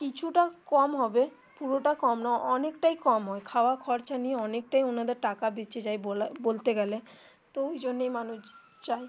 কিছু টা কম হবে পুরো টা কম না অনেকটাই কম হয় খাওয়া খরচ নিয়ে অনেকটাই ওনাদের টাকা বেঁচে যায় বলতে গেলে তো ওই জন্যই মানুষ যায়.